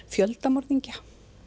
fjöldamorðingja